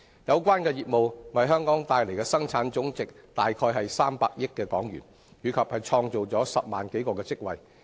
有關業務為香港帶來的生產總值約為300億港元，並創造10萬多個職位。